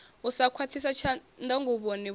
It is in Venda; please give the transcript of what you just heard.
u sa khakhiswa tshanḓanguvhoni vhuaḓa